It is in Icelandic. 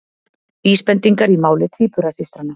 Vísbendingar í máli tvíburasystranna